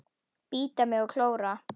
Bíta mig og klóra.